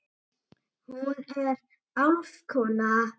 Hún er álfkona.